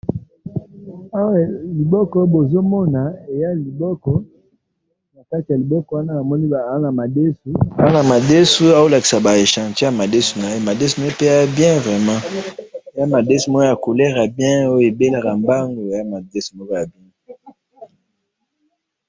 Awa liboko oyo bozomona, eza liboko, en faite liboko wana namoni aa namadesu, aa namadesu azolakisa ba echantion ya madesu naye, madesu naye pe eza bien vraiment! Eza madesu moko ya couleur ya bien oyo ebelaka mbangu, eza madesu moko ya bien.